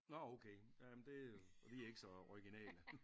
Nårh okay jamen det vi ikke så originale